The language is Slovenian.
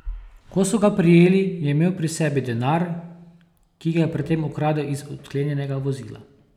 Ko so ga prijeli, je imel pri sebi denar, ki ga je pred tem ukradel iz odklenjenega vozila.